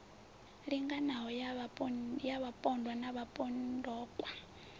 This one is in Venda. linganaho ya vhapondwa na vhapomokwa